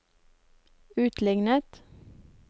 utlignet